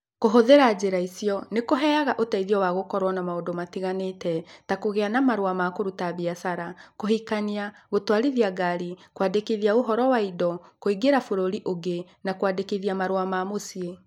Kũhũthĩra njĩra icio nĩ kũheanaga ũteithio wa gũkoragwo na maũndũ matiganĩte ta kũgĩa na marũa ma kũruta biacara, kũhikania, gũtwarithia ngari, kwandĩkithia ũhoro wa indo, kũingĩra bũrũri ũngĩ, na kwandĩkithia marũa ma mũciĩ.